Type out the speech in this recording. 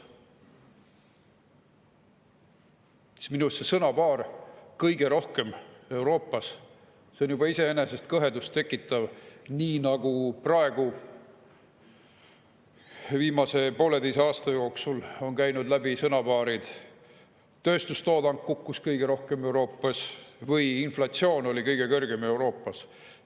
Minu arust see – kõige rohkem Euroopas – on juba iseenesest kõhedust tekitav, nii nagu ka viimase pooleteise aasta jooksul läbi käinud, et tööstustoodang kukkus kõige rohkem Euroopas just meil või et meie inflatsioon oli kõige kõrgem Euroopas.